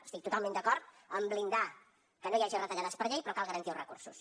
estic totalment d’acord amb blindar que no hi hagi retallades per llei però cal garantir els recursos